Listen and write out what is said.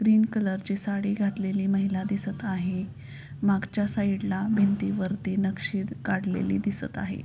Green colour ची साडी घातलेली माहिला दिसत आहे मागच्या साइड ला भिंतीवरती नक्षी काढलेली दिसत आहे.